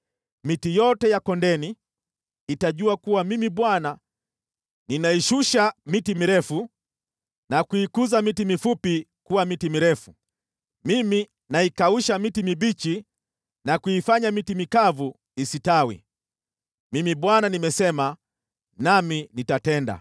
Miti yote ya kondeni itajua kuwa Mimi Bwana ninaishusha miti mirefu na kuikuza miti mifupi kuwa miti mirefu. Mimi naikausha miti mibichi na kuifanya miti mikavu istawi. “ ‘Mimi Bwana nimesema, nami nitatenda.’ ”